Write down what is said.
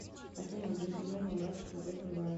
афина джентльмены удачи смотреть онлайн